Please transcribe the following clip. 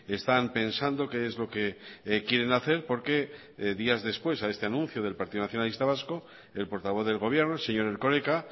están pensando qué es lo que quieren hacer porque días después a este anuncio del partido nacionalista vasco el portavoz del gobierno señor erkoreka